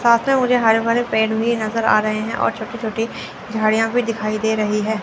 साथ मे मुझे हरे भरे पेड़ भी नज़र आ रहे है और छोटी-छोटी झाड़ियाँ भी दिखाई दे रही है।